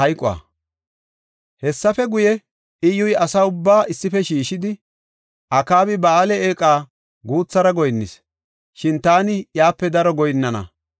Hessafe guye, Iyyuy asa ubbaa issife shiishidi, “Akaabi Ba7aale eeqa guuthara goyinnis; shin taani iyape daro goyinnana.